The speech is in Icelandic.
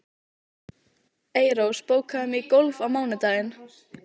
Eyrós, bókaðu hring í golf á mánudaginn.